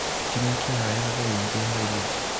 Ti mĩkiha yothe ĩngĩeherio.